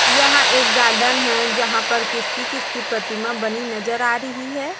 यहाँ एक गार्डन हैं जहाँ पर किसकी किसकी प्रतिमा बनी नजर आ रहीं हैं।